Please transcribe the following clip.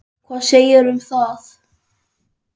Hvað segirðu um það?